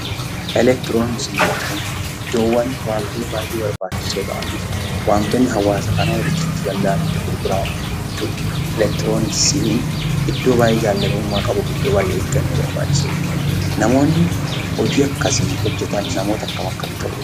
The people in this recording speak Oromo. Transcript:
Elektirooniksii jechuun iddoowwan wantoonni baay'ee barbaachisoo ta'an, wantoonni hawaasa kana walitti fiduu danda'an itti gurguraman jechuudha. Elektirooniksiin iddoo baay'ee jaallatamummaa qabuu fi iddoo baay'ee eeggannoo barbaachisu dha. Namoonni hojii akkasii hojjetan namoota akkam akkamii ta'uu qabu?